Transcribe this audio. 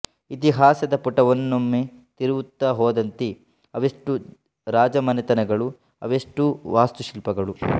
ಇತಿಹಾಸದ ಪುಟವನ್ನೊಮ್ಮೆ ತಿರುವುತ್ತಾ ಹೋದಂತೆ ಅವೆಷ್ಟು ರಾಜಮನೆತನಗಳು ಅವೆಷ್ಟು ವಾಸ್ತುಶಿಲ್ಪಗಳು